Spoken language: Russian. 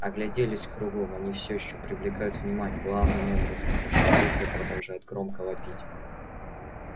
огляделись кругом они все ещё привлекают внимание главным образом потому что букля продолжает громко вопить